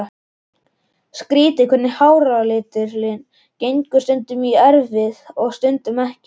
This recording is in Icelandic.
Skrýtið hvernig háralitur gengur stundum í erfðir og stundum ekki.